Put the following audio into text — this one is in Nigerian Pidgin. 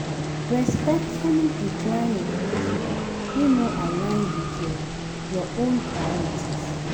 Respectfully decline invitation wey no align with your own priorities.